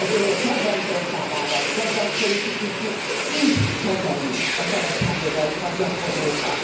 Az Önök kedvenc országában kedvenc politikusuk így kezeli a szabadságjogaikat gyakorlókat.